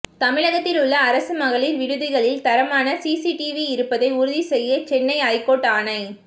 தமிழகத்தில் உள்ள அரசு மகளிர் விடுதிகளில் தரமான சிசிடிவி இருப்பதை உறுதி செய்ய சென்னை ஐகோர்ட் ஆணை